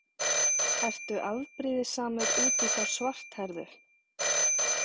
Ertu afbrýðisamur út í þá svarthærðu?